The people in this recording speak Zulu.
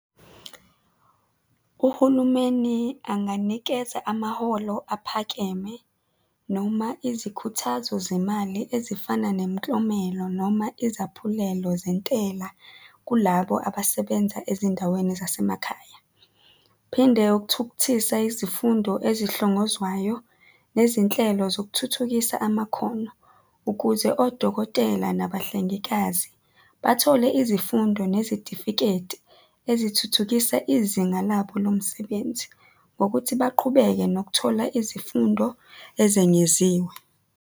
Uhulumeni anganikeza amaholo aphakeme, noma izikhuthazo zemali ezifana nemiklomelo, noma izaphulelo zentela kulabo abasebenza ezindaweni zasemakhaya. Phinde ukuthukuthisa izifundo ezihlongozwayo nezinhlelo zokuthuthukisa amakhono ukuze odokotela nabahlengikazi bathole izifundo nezitifiketi ezithuthukisa izinga labo lomsebenzi ngokuthi baqhubeke nokuthola izifundo ezengeziwe.